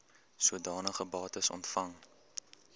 sodanige bates ontvang